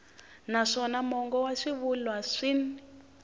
naswona mongo wa swivulwa swin